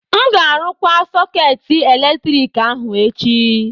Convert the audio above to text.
M ga-arụkwa sọkeetị eletrik ahụ echi